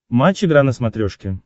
матч игра на смотрешке